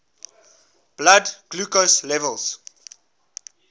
blood glucose levels